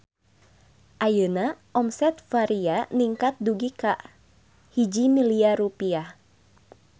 Ayeuna omset Varia ningkat dugi ka 1 miliar rupiah